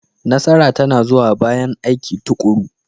Nasara tana zuwa bayan aiki tuƙuru.